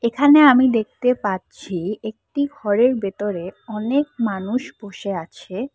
এখানে আমি দেখতে পাচ্ছি একটি ঘরের ভেতরে অনেক মানুষ বসে আছে।